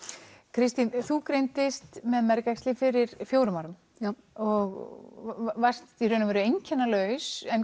Kristín þú greindist með fyrir fjórum árum og varst í raun einkennalaus en